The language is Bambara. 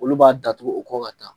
Olu b'a datugu u kɔ ka taa.